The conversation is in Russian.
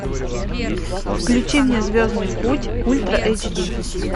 включи мне звездный путь ультра эйч ди